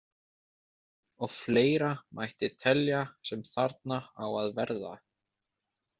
Og fleira mætti telja sem þarna á að verða.